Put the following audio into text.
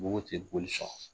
Bobo tɛ boli sɔn